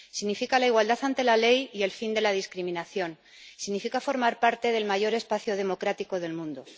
Significa la igualdad ante la ley y el fin de la discriminación. Significa formar parte del mayor espacio democrático del mundo.